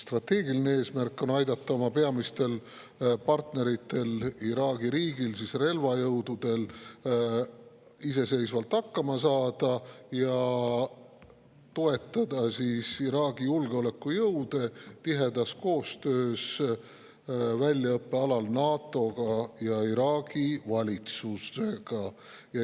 Strateegiline eesmärk on aidata oma peamistel partneritel Iraagi riigi relvajõududel iseseisvalt hakkama saada ja toetada Iraagi julgeolekujõude tihedas koostöös väljaõppe alal NATO-ga ja Iraagi valitsusega.